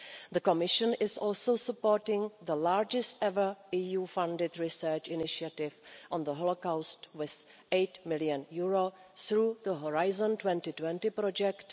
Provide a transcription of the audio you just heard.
The Commission is also supporting the largest ever EU funded research initiative on the Holocaust, with EUR 8 million, through the Horizon 2020 project.